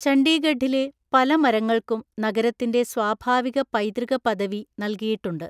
ചണ്ഡീഗഡിലെ പല മരങ്ങൾക്കും നഗരത്തിന്റെ സ്വാഭാവിക പൈതൃക പദവി നൽകിയിട്ടുണ്ട്.